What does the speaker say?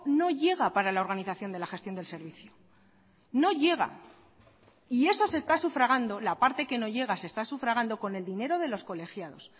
no llega para la organización de la gestión del servicio no llega y eso se está sufragando la parte que no llega se está sufragando con el dinero de los colegiados